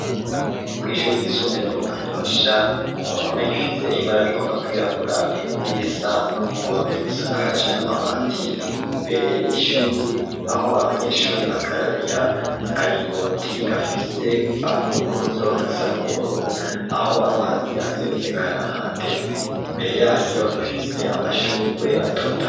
Kw'ishuri ry'isumbuye ryo mu Kanyosha kumpome rifise ibara rigomba kwirabura nirisa muhondo risakaje amabati mbere y'ishure aho abanyeshure bakarabira akaringoti gafise akuguruzo gasa nubururu aho amazi aseseka harateze Imbere yaryo rifise amashurwe atotahaye.